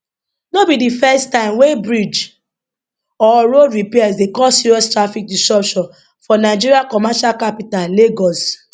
no be di first time wey bridge or road repairs dey cause serious traffic disruption for nigeria commercial capital lagos